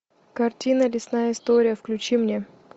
картина лесная история включи мне